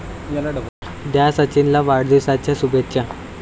द्या सचिनला वाढदिवसाच्या शुभेच्छा!